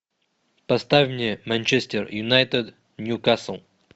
поставь мне манчестер юнайтед ньюкасл